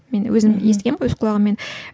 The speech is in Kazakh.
мен өзім естігенмін өз құлағыммен